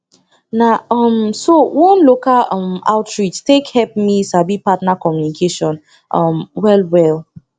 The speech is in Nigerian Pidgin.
na um so one local um outreach take help me sabi partner communication um well well